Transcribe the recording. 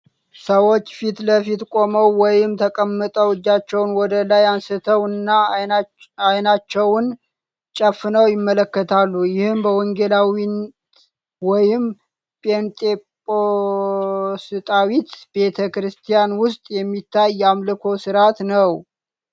ሰዎች ፊት ለፊት ቆመው ወይም ተቀምጠው እጃቸውን ወደ ላይ አንስተው እና ዓይናቸውን ጨፍነው ይመለካሉ። ይህ በወንጌላዊት ወይም ጴንጤቆስጣዊት ቤተ ክርስቲያን ውስጥ የሚታይ የአምልኮ ሥርዓት ነው።